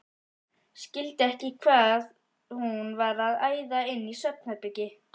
Skildi ekki hvað hún var að æða inn í svefnherbergi.